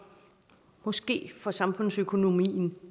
måske for samfundsøkonomien